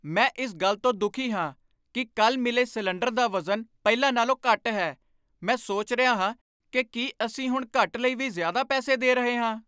ਮੈਂ ਇਸ ਗੱਲ ਤੋਂ ਦੁਖੀ ਹਾਂ ਕਿ ਕੱਲ੍ਹ ਮਿਲੇ ਸਿਲੰਡਰ ਦਾ ਵਜ਼ਨ ਪਹਿਲਾਂ ਨਾਲੋਂ ਘੱਟ ਹੈ। ਮੈਂ ਸੋਚ ਰਿਹਾ ਹਾਂ ਕਿ ਕੀ ਅਸੀਂ ਹੁਣ ਘੱਟ ਲਈ ਵੀ ਜ਼ਿਆਦਾ ਪੈਸੇ ਦੇ ਰਹੇ ਹਾਂ।